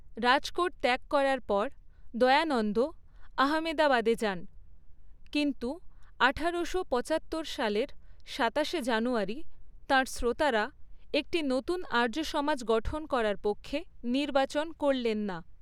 রাজকোট ত্যাগ করার পর, দয়ানন্দ আহমেদাবাদে যান। কিন্তু আঠারো শো পচাত্তর সালের সাতাশে জানুয়ারী তাঁর শ্রোতারা একটি নতুন আর্য সমাজ গঠন করার পক্ষে নির্বাচন করলেন না।